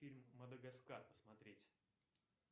фильм мадагаскар посмотреть